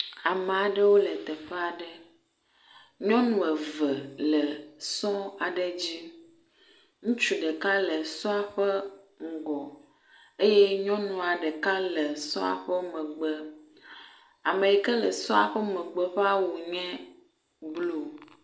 Ame aɖewo le teƒe aɖe. Nyɔnu eve le sɔ aɖe dzi. Ŋutsu ɖeka le sɔ la ƒe ŋgɔ eye nyɔnua ɖeka le sɔa ƒe megbe. Ame yi ke le sɔa ƒe megbe ƒe awu nye blu